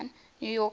new york mets